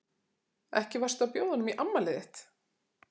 Ekki varstu að bjóða honum í afmælið þitt?